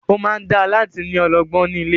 Ó máa dáa láti ni ológbò ní ilé.